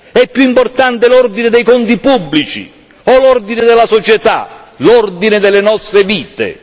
È più importante l'ordine dei conti pubblici o l'ordine della società, l'ordine delle nostre vite?